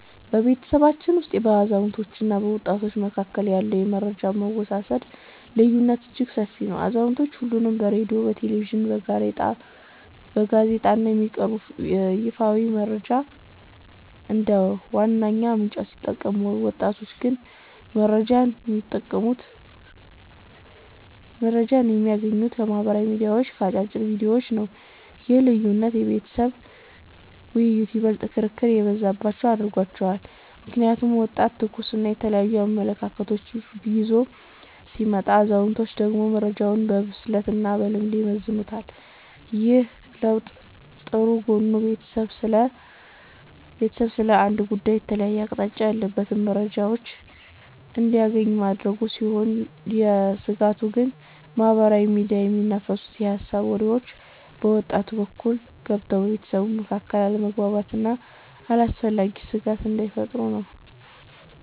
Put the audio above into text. በቤተሰባችን ውስጥ በአዛውንቶችና በወጣቶች መካከል ያለው የመረጃ አወሳሰድ ልዩነት እጅግ ሰፊ ነው። አዛውንቶቹ አሁንም በሬድዮ፣ በቴሌቪዥንና በጋዜጣ ላይ የሚቀርቡ ይፋዊ መረጃዎችን እንደ ዋነኛ ምንጭ ሲጠቀሙ፣ ወጣቶቹ ግን መረጃን የሚያገኙት ከማኅበራዊ ሚዲያዎችና ከአጫጭር ቪዲዮዎች ነው። ይህ ልዩነት የቤተሰብ ውይይቶችን ይበልጥ ክርክር የበዛባቸው አድርጓቸዋል። ምክንያቱም ወጣቱ ትኩስና የተለያዩ አመለካከቶችን ይዞ ሲመጣ፣ አዛውንቶቹ ደግሞ መረጃውን በብስለትና በልምድ ይመዝኑታል። ይህ ለውጥ ጥሩ ጎኑ ቤተሰቡ ስለ አንድ ጉዳይ የተለያየ አቅጣጫ ያላቸውን መረጃዎች እንዲያገኝ ማድረጉ ሲሆን፤ ስጋቱ ግን በማኅበራዊ ሚዲያ የሚናፈሱ የሐሰት ወሬዎች በወጣቱ በኩል ገብተው በቤተሰቡ መካከል አለመግባባት ወይም አላስፈላጊ ስጋት እንዳይፈጥሩ ነው።